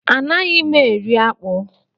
Anaghị mụ eri akpụ.